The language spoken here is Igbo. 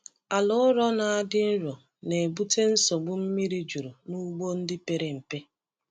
Ala ụrọ na-adị nro na-ebute nsogbu mmiri juru n’ugbo ndị pere mpe.